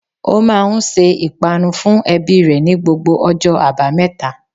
O máa n se ìpanu fun ebí re ni gbogbo ojó àbáméta